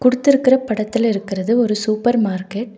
குடுத்துருக்கற படத்துல இருக்கறது ஒரு சூப்பர் மார்க்கெட் .